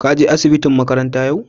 ka je asibitin makaranta ƴau?